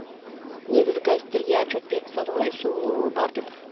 негізі газеттерге отчет беріп стады ғой су бар деп